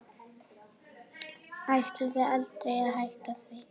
Ætlaði aldrei að hætta því.